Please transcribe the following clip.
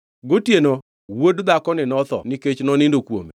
“Gotieno wuod dhakoni notho nikech nonindo kuome.